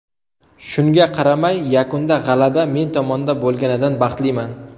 Shunga qaramay, yakunda g‘alaba men tomonda bo‘lganidan baxtliman.